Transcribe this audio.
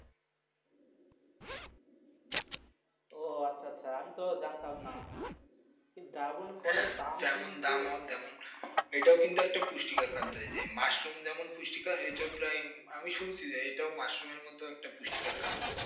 ও আচ্ছা আচ্ছা আমি তো জানতাম না ড্রাগন ফলের দাম কিন্তু অনেক এটাই কিন্তু একটা পুষ্টিকর খাদ্য এই যেমন মাশরুম যেমন পুষ্টিকর এটাই প্রায় আমি শুনছি যে এটা মাশরুম মতো পুষ্টিকর খাদ্য.